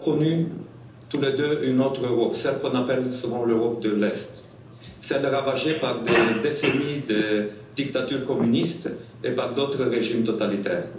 Nous avons connu tous les deux une autre Europe, celle qu'on appelle souvent l'Europe de l'Est, ravagée par des décennies de dictature communiste et par d'autres régimes totalitaires.